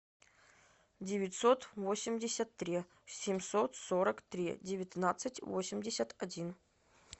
девятьсот восемьдесят три семьсот сорок три девятнадцать восемьдесят один